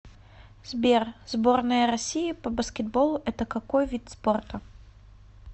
сбер сборная россии по баскетболу это какой вид спорта